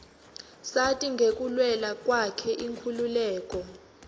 sati ngekulwela kwakhe inkhululeko